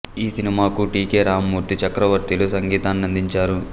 ఈ సినిమాకు T K Ramamurthy Chakravarthy లు సంగీతాన్నందించారు